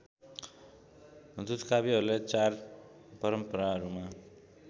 दूतकाव्यहरूलाई चार परम्पराहरूमा